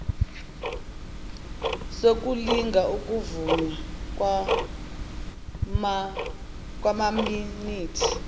sokulinga ukuvunywa kwamaminithi